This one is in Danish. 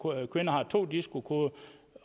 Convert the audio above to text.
kvinder har to disco koder